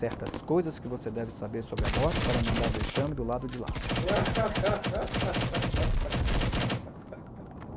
Certas coisas que você deve saber sobre a morte para não dar vexame do lado de lá.